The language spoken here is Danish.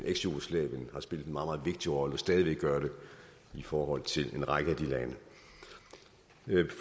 eksjugoslavien har spillet en meget meget vigtig rolle og stadig væk gør det i forhold til en række af de lande